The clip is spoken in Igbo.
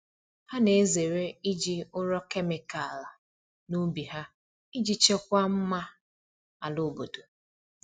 Ha na-ezere iji ụrọ kemịkal n’ubi ha iji chekwaa mma ala obodo.